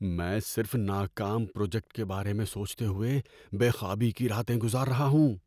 میں صرف ناکام پروجیکٹ کے بارے میں سوچتے ہوئے بے خوابی کی راتیں گزار رہا ہوں۔